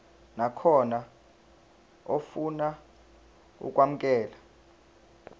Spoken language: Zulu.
nakhona ofuna ukwamukelwa